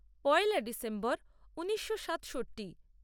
পয়লা December ঊনিশো সাতষট্টি